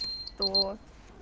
кто